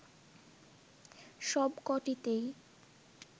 সব কটিতেই